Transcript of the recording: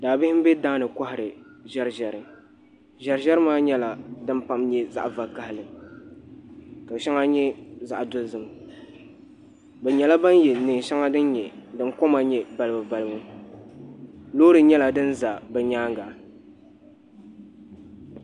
Daa bihi n bɛ daani kohari ʒɛri ʒɛri ʒɛri ʒɛri ma nyɛla din pam nyɛ zaɣ vakaɣali ka shɛŋa nyɛ zaɣ dozim bi nyɛla bin yɛ neen shɛŋa din koma nyɛ balibu balibu loori nyɛla din ʒɛ bi nyaanga